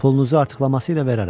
Pulunuzu artıqlaması ilə verərəm.